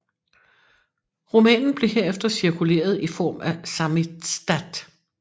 Romanen blev herefter cirkuleret i form af samizdat